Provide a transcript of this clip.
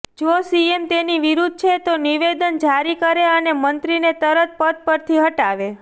જો સીએમ તેની વિરુદ્ધ છે તો નિવેદન જારી કરે અને મંત્રીને તરત પદ પરથી હટાવે